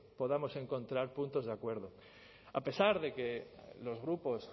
podamos encontrar puntos de acuerdo a pesar de que los grupos